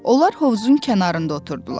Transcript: Onlar hovuzun kənarında oturdular.